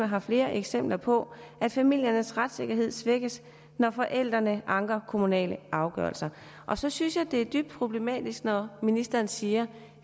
har flere eksempler på at familiernes retssikkerhed svækkes når forældrene anker kommunale afgørelser så synes jeg det er dybt problematisk når ministeren siger